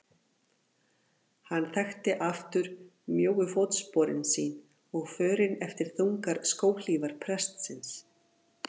Hann þekkti aftur mjóu fótsporin sín og förin eftir þungar skóhlífar prestsins.